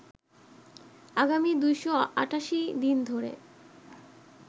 আগামী ২৮৮ দিন ধরে